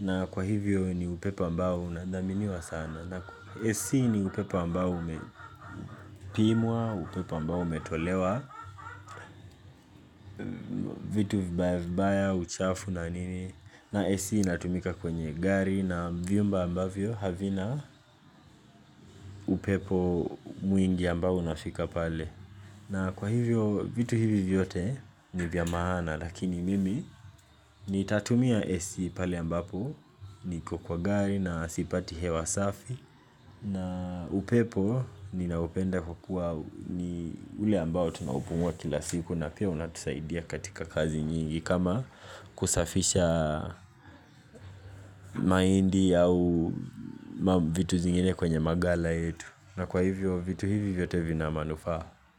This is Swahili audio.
na kwa hivyo ni upepo ambao unadhaminiwa sana na AC ni upepo ambao umepimwa, upepo ambao umetolewa, vitu vibaya vibaya, uchafu na nini na AC inatumika kwenye gari na vyumba ambavyo havina upepo mwingi ambao unafika pale na kwa hivyo vitu hivi vyote ni vya maana lakini mimi nitatumia AC pale ambapo niko kwa gari na sipati hewa safi na upepo ninaupenda kwa kuwa ni ule ambao tunaupumua kila siku na pia unatusaidia katika kazi nyingi kama kusafisha mahindi au vitu zingine kwenye magala yetu na kwa hivyo vitu hivi vyote vina manufaa.